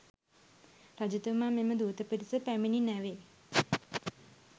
රජතුමා මෙම දූත පිරිස පැමිණි නැවේ